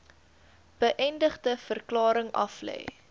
beëdigde verklaring aflê